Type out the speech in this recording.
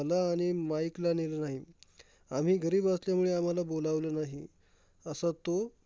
मला आणि माईकला नेलं नाही. आम्ही गरीब असल्यामुळे आम्हाला बोलावलं नाही. असा तो